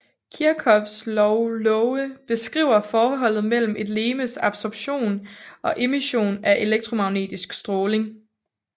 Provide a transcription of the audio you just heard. Kirchhoffs lov love beskriver forholdet mellem et legemes absorption og emission af elektromagnetisk stråling